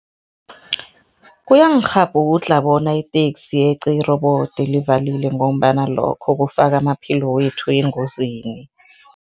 Kuyangikghabhudlha bona iteksi yeqe i-robot livalile ngombana lokho kufaka amaphilo wethu engozini.